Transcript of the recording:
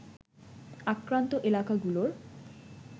আক্রান্ত এলাকাগুলোর